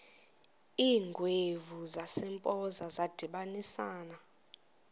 iingwevu zasempoza zadibanisana